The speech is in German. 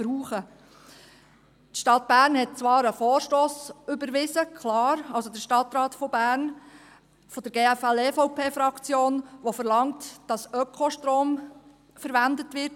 Der Stadtrat von Bern hat zwar einen Vorstoss von der GFL-/EVP-Fraktion überwiesen – klar –, der verlangt, dass Ökostrom verwendet wird.